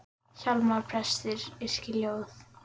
Hjálmar prestur yrkir ljóð.